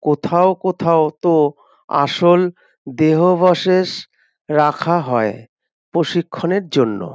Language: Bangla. কোথাও কোথাও তো আসল দেহবশেষ রাখা হয় প্রশিক্ষণের জন্য।